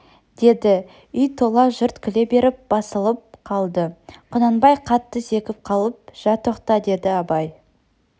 деді үй тола жұрт күле беріп басылып қалды құнанбай қатты зекіп қалып жә тоқтат деді абай